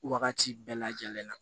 Wagati bɛɛ lajɛlen na